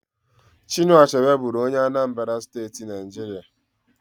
Chinua Achebe bụrụ onye Anambra State, Nigeria